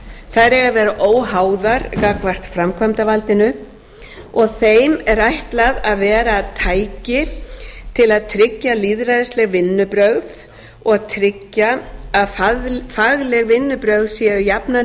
þær eiga að vera óháðar gagnvart framkvæmdarvaldinu og þeim er ætlað að vera tæki til að tryggja lýðræðisleg vinnubrögð og tryggja að fagleg vinnubrögð séu jafnan